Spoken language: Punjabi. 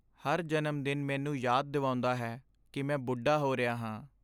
ਹਰ ਜਨਮ ਦਿਨ ਮੈਨੂੰ ਯਾਦ ਦਿਵਾਉਂਦਾ ਹੈ ਕਿ ਮੈਂ ਬੁੱਢਾ ਹੋ ਰਿਹਾ ਹਾਂ।